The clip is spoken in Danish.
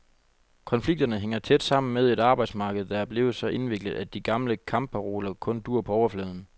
Konflikterne hænger tæt sammen med et arbejdsmarked, der er blevet så indviklet, at de gamle kampparoler kun duer på overfladen.